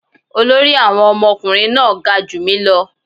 Olórí Awon omokunrin náà ga ju mi ​​lọ